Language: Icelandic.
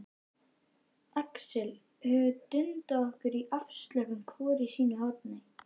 Axel höfum dundað okkur afslöppuð hvort í sínu horni.